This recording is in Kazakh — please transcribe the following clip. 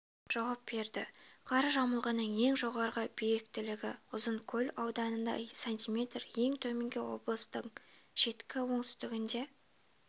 жауап берді қар жамылғының ең жоғарғы биіктілігі ұзынкөл ауданында см ең төменгі облыстың шеткі оңтүстігінде